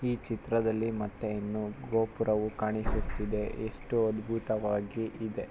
ಈ ಚಿತ್ರದಲ್ಲಿ ಮತ್ತೆ ಇನ್ನು ಗೋಪುರವು ಕಾಣಿಸುತ್ತಿದೆ ಎಷ್ಟು ಅದ್ಭುತವಾಗಿ ಇದೆ.